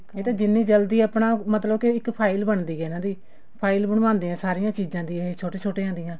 ਇਹ ਤਾਂ ਜਿੰਨੀ ਜਲਦੀ ਆਪਣਾ ਮਤਲਬ ਕੇ ਇੱਕ file ਬਣਦੀ ਆ ਇਹਨਾ ਦੀ file ਬਣਵਾਉਂਦੇ ਆ ਸਾਰੀਆਂ ਚੀਜ਼ਾਂ ਛੋਟੇ ਛੋਟਿਆਂ ਦੀਆਂ